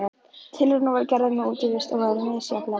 Tilraunir voru gerðar með útivist og voru þær misjafnlega klaufalegar.